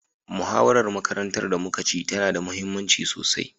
Muhawarar makarantar da muka ci tana da muhimmanci sosai.